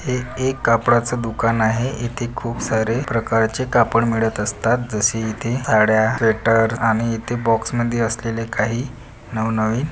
हे एक कपड्याच दुकान आहे येथे खूप सारे प्रकारचे कापड मिळत असतात जसे इथे हडया स्वेटर आणि इथे बॉक्स मध्ये असलेले काही नवनवीन--